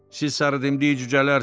Siz sarıdimdik cücələrsiniz.